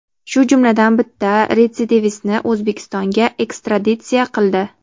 shu jumladan bitta retsidivistni O‘zbekistonga ekstraditsiya qildi.